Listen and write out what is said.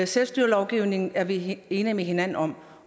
selvstyreloven er vi enige med hinanden om